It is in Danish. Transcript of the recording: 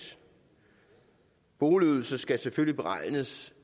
boligydelsen skal selvfølgelig beregnes